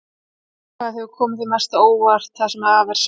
Hvað hefur komið þér mest á óvart það sem af er sumars?